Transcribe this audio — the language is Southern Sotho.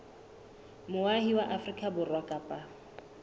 moahi wa afrika borwa kapa